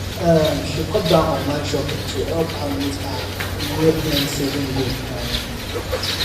um she cut down online shopping to help her meet her yearend saving goal um